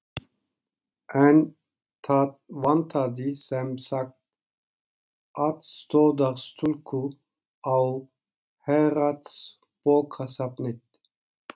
En það vantaði sem sagt aðstoðarstúlku á Héraðsbókasafnið.